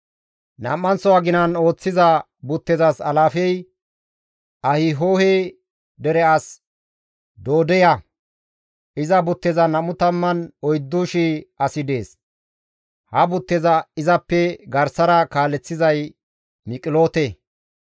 Nam7anththo aginan ooththiza buttezas alaafey Ahihohe dere as Doodeya; iza buttezan 24,000 asi dees; ha butteza izappe garsara kaaleththizay Miqiloote.